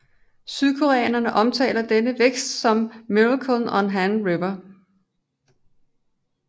Sydkoreanerne omtaler denne vækst som Miracle on Han River